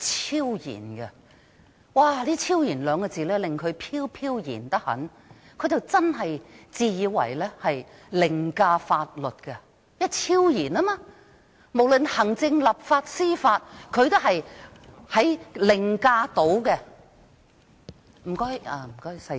"超然"這兩個字令他非常飄飄然，真的以為自己可以凌駕法律，因為他是"超然"的，無論行政、立法和司法，他都能凌駕。